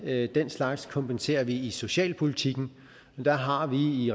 at den slags kompenserer vi i socialpolitikken og der har vi i